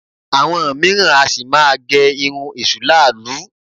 Àwọn mìíràn a sì máa gẹ irun èṣù làálú